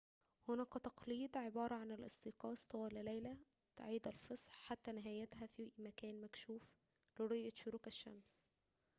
هناك تقليد عبارة عن الاستيقاظ طوال ليلة عيد الفصح حتى نهايتها في مكان مكشوف لرؤية شروق الشمس